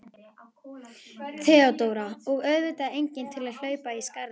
THEODÓRA: Og auðvitað enginn til að hlaupa í skarðið.